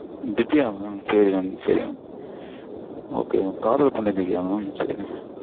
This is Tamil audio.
திவ்யா mam. சரிங்க mam சரிங்க mam okay mam காதல் கொண்டேன் திவ்யா mam